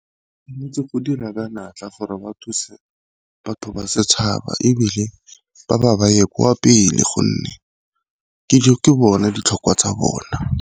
go dira ka natla gore ba thuse batho ba setšhaba, ebile ba ba baye kwa pele gonne ke bone ditlhokwa tsa bona.